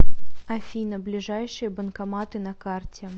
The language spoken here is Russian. афина ближайшие банкоматы на карте